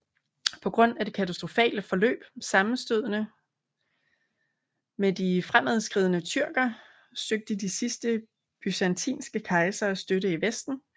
På grund af det katastrofale forløb af sammenstødene med de fremadskridende tyrker søgte de sidste byzantinske kejsere støtte i Vesten